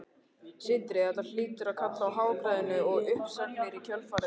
Sindri: Þetta hlýtur að kalla á hagræðingu og uppsagnir í kjölfarið er það ekki?